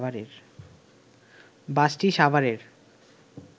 বাসটি সাভারের